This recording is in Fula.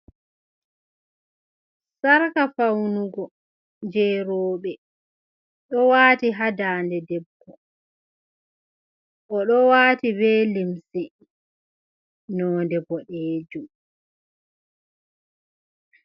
Sarka faunugo jeroobe ɗo wati hadande debbo o ɗo wati be limsi node boɗeejum.